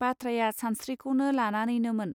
बाथ्राया सानस्त्रिखौ लानानैनोमोन.